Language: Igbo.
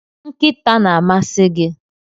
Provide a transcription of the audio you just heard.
Nkịta na-amasị gị